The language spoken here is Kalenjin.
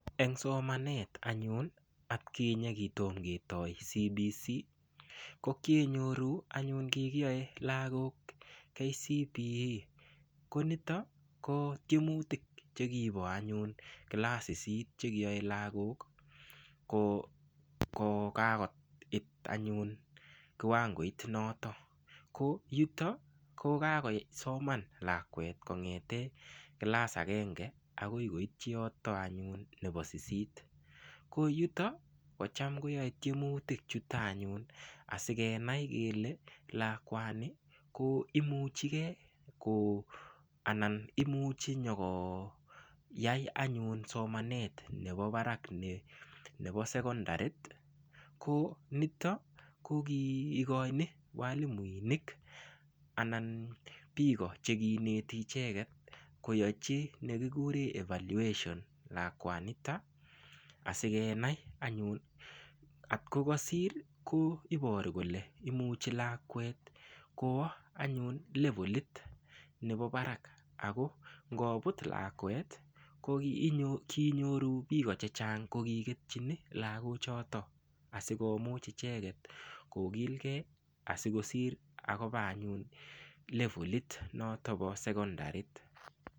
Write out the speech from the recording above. Eng' somanet anyun atkinye kitoma ketoy CBC ko kienyoru anyun kigiyoe lagok KCPE konitok ko kiymutik chekipo anyun class sisit chekiyoe lagok ko kagoit anyun kiwangoit notok ko yutok ko kagosoman lakwet kong'ete class agenge ay koitchi yotok anyun ko sisit ko yutok kocham koyae tiemutik chutok anyun asikenai anyun kele lakwani ko imuchi gei anan imuchi nyikoyai anyun somanet nepo barak nepo sekondarit ko nitok kogi igoini walimuinik anan piko chekiineti icheket koyachi nekigure evaluation lakwanitok asikenai anyun otko kasir ko iporu imuchi lakwet kowa anyun levalit nepo barak ako ngoput lakwet koginyoru piko chechang' ko kigetchini lagok chotok asikomuch icheket kogilgei asikosir akopaa anyun levalit notok po sekondarit.